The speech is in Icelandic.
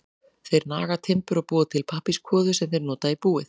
Þeir naga timbur og búa til pappírskvoðu sem þeir nota í búið.